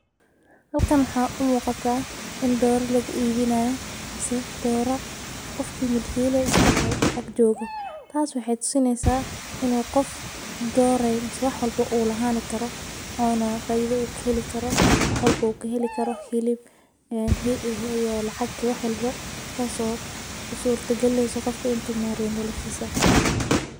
Halkan waxaa u muqataa in doreyda lagu ibini hayo oo wax walbo u kahelayo marka sas aya u muqataa mase qofka milka u garab jogo sas ayey ilatahay.